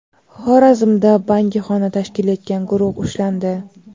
Xorazmda bangixona tashkil etgan guruh ushlandi.